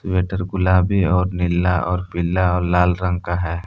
Sweater गुलाबी और नीला और पीला और लाल रंग का है।